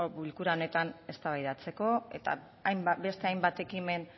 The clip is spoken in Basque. bilkura honetan eztabaidatzeko eta beste hainbat ekimen